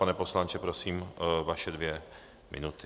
Pane poslanče, prosím, vaše dvě minuty.